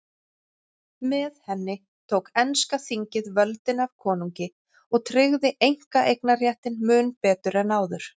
Með henni tók enska þingið völdin af konungi og tryggði einkaeignarréttinn mun betur en áður.